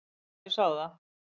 Já, ég sá það.